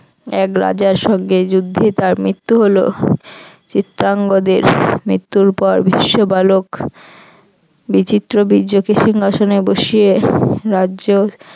এক রাজার সঙ্গে যুদ্ধে তার মৃত্যু হল চিত্রাঙ্গজের মৃত্যুর পর ভীষ্ম বালক বিচিত্রবীর্যকে সিংহাসনে বসিয়ে রাজ্য